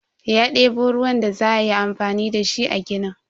Ya debo ruwan da za ayi amfani dashi a ginin.